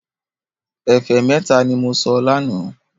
Ẹ̀fẹ́ mẹ́ta ní mo sọ lánàá